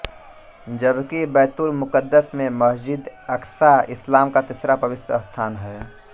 जबकि बैतुल मुक़द्दस में मस्जिदएअक्सा इस्लाम का तीसरा पवित्र स्थान है